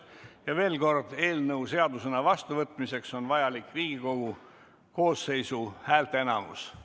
Ja veel kord: eelnõu seadusena vastuvõtmiseks on vajalik Riigikogu koosseisu häälteenamus.